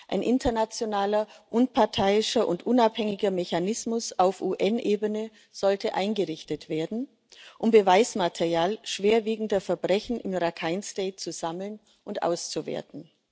Ein internationaler, unparteiischer und unabhängiger Mechanismus auf UN Ebene sollte eingerichtet werden, um Beweismaterial schwerwiegender Verbrechen im Rakhine State zu sammeln und auszuwerten.